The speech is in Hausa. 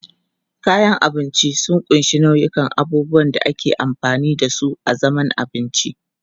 Kayan abinci sun ƙunshi nau'ikan abubuwan da ake amfani da su a zaman abinci.